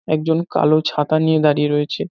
একজন কালো ছাতা নিয়ে দাঁড়িয়ে রয়েছে।